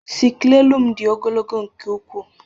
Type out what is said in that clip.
Sicklelu m dị ogologo nke ukwuu